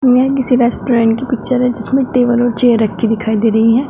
यह किसी रेस्टोरेंट कि पिक्चर है जिसमें टेबल और चेयर रखी दिखाई दे रही है।